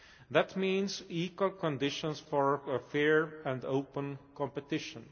That means equal conditions for fair and open competition.